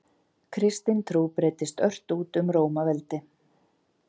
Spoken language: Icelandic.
Kristin trú breiddist ört út um Rómaveldi.